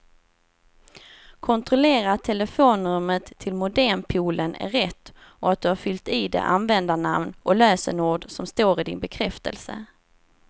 Kontrollera att telefonnumret till modempoolen är rätt och att du har fyllt i det användarnamn och lösenord som står i din bekräftelse.